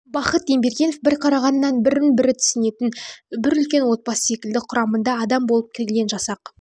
бахыт ембергенов бір қарағаннан бірін-бірі түсінетін бір үлкен отбасы секілді құрамында адам болып келген жасақ